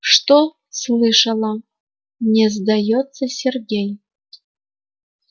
что слышала не сдаётся сергей